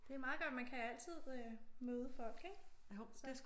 Det er meget godt. Man kan altid øh møde folk ik? Så